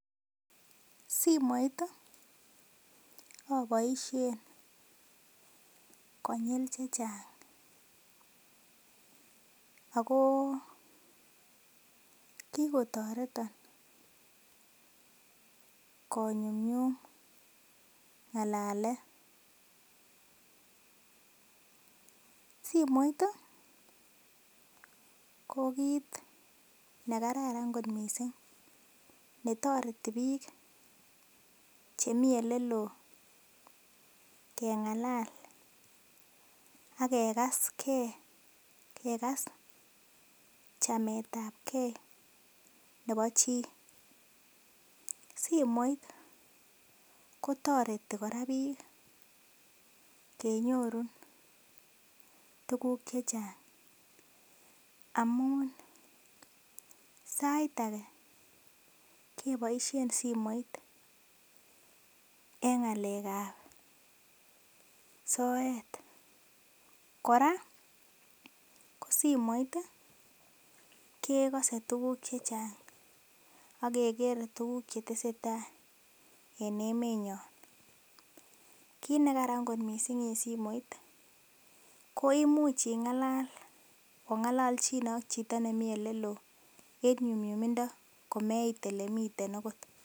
Simoit aboishen konyil chechang akoo kikotoreton konyumnyum ng'alalet ,simoit ii ko kit nekararan kot missing netoreti biik chemi oleloo keng'alal akekas gee, kekas chametabgee nebo chii, simoit kotoreti kora biik kenyorun tuguk chechang amun sait age keboisien simoit en ng'alekab soet, kora ko simoit kekoses tuguk chechang ,akekere tuguk chetesetai en emenyon kit nekaran kot missing en simoit koimuch ing'alal ong'ololchine ak chito nemii oleloo en nyumnyumindoo komeit olemiten akot.